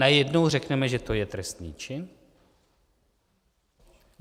Najednou řekneme, že to je trestný čin?